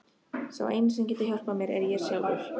Sá eini sem getur hjálpað mér er ég sjálfur.